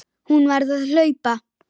Hún varð að hlaupa.